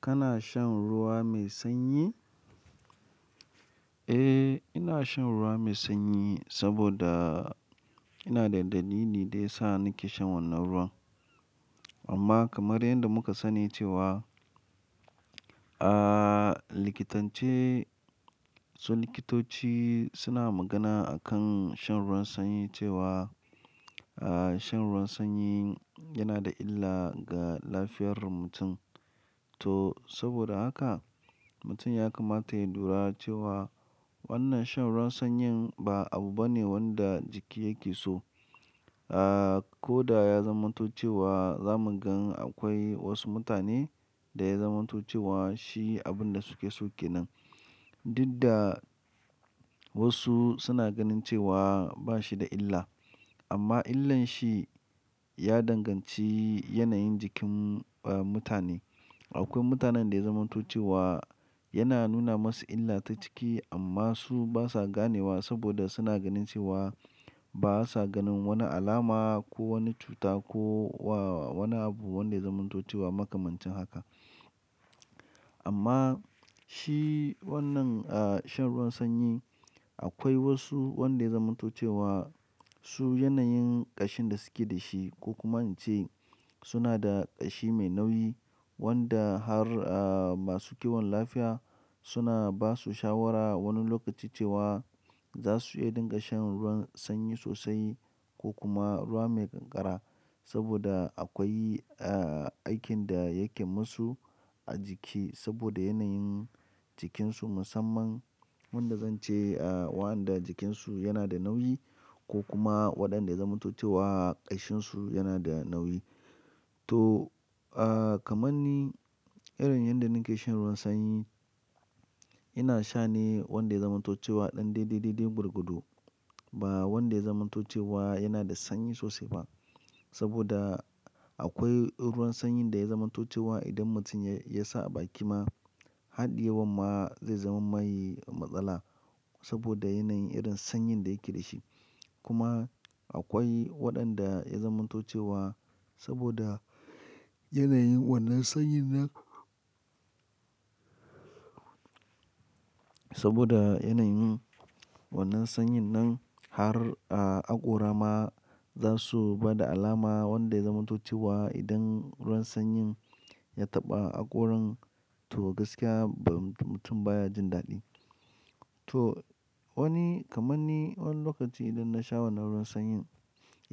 Kana shan ruwa mai sanyi? Eh, ina shan ruwa mai sanyi, saboda ina da ɗalili ne da yasa nake shan wannan ruwan. Amma kamar yanda muka sani cewa, ah likitance, su likitoci suna magana akan shan ruwan sanyi cewa, ah, shan ruwan sanyi yana da illa ga lafiyar mutum. To, saboda haka, mutum ya kamata ya lura cewa, wannan shan ruwan sanyin, ba abu ba ne wanda jiki yake so. Ah, ko da ya zamanto ce wa, zamu gan akwai wasu mutane, da ya zamanto ce wa shi abin da suke so kenan. Duk da wasu suna ganin cewa ba shi da illa, amma illan shi ya danganci yanayin jikin, mutane. Akwai mutanen da ya zamanto ce wa, yana nuna musu illa ta cikim amma su ba sa ganewa saboda suna ganin cewa, basa ganin wani alama, ko wani cuta, ko wani abu wanda ya zamanto ce wa makamancin haka. Amma shi wannan, shan ruwan sanyi akwai wasu wanda ya zamanto ce wa, su yanayin ƙashin da suke da shi, ko kuma ince suna da ƙashi mai nauyi, wanda har, ah, ma su kiwon lafiya suna basu shawara wani lokaci cewa za su iya dinga shan ruwan sanyi sosai, ko kuma ruwa mai kankara, saboda akwai, ah, aikin da yake musu a jiki, saboda yanayin jikinsu musamman wanda zan ce, ah, wanda jikinsu yana da nauyi ko kuma, waɗanda ya zamanto ce wa, ƙashinsu yana da nauyi. To, ah, kaman irin yanda nake shan ruwan sanyi, ina sha ne wanda ya zamanto ce wa ɗan daidai-daidai burgudu ba wanda ya zamanto ce wa, yana da sanyi sosai ba. Saboda, akwai ruwan sanyin da ya zamanto ce wa, idan mutum ya sa a baki ma, haɗiye wan ma zai zaman mai matsala, saboda yanayin irin sanyin da yake da shi. Kuma akwai waɗanda ya zamantace wa saboda yanayin wannan sanyin nan-- saboda, yanayin wannan sanyin nan, har akora ma za su bada alama wanda ya zamanto ce wa, idan ruwan sanyin ya taɓa hakoran, to gaskiya ba mutum baya jin daɗi. To, wani kamar ni wani lokaci idan na sha wannan ruwan sanyin,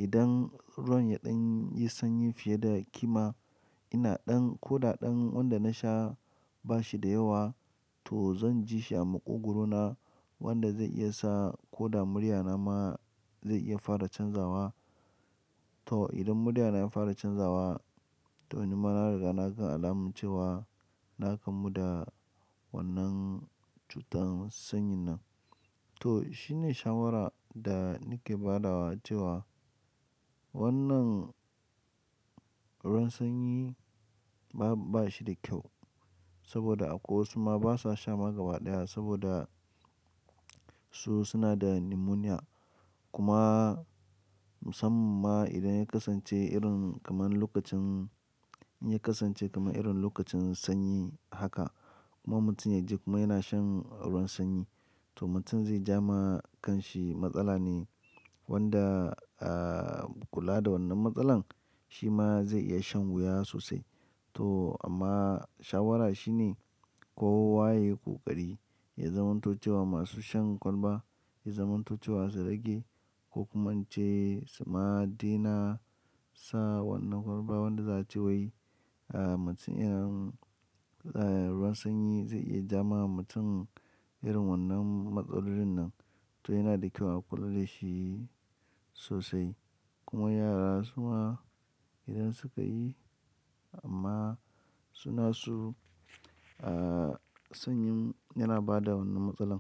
idan ruwan ya ɗan yi sanyi fiye da kima, ina ɗan ko da ɗan wanda na sha ba shi da yawa to zan ji shi a maƙogwaro na, wanda zai iya sa ko da murya na ma zai iya fara canzawa. To idan murya na ya fara canzawa, to ni ma na riga na san alama cewa, na kamu da wannan cutar sanyin nan. To shine shawara da nake badawa cewa, wannan ruwan sanyi bashi da kyau, saboda akwai wasu ma basa sha ma gaba ɗaya, saboda su suna da pneumonia. Kuma musamman ma idan ya kasance, irin kaman lokacin, in ya kasance kaman irin lokacin sanyi haka kuma mutum ya je kuma yana shan ruwan sanyi, to mutum zai ja ma kan shi matsala ne wanda, ah, kula da wannan matsalan, shi ma zai iya shan wuya sosai. To amma shawara shine ko wa yayi ko ƙari, ya zamanto ce wa masu shan kwalba, ya zamanto ce wa su rage ko kuma ince, su ma daina sa wannan kwalba wanda za'a ce wai, ah, mutum irin, ah, ruwan sanyi zai iya ja ma mutum irin wannan matsalolin nan. To yana da kyau a kula da shi sosai, kuma yara su ma idan su ka yi amma suna so, ah, sanyi yana bada wannan matsalar.